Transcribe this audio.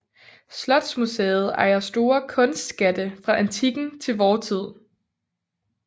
Slotsmuseet ejer store kunstskatte fra antikken til vor tid